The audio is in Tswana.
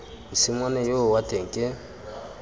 mosimane yoo wa teng ke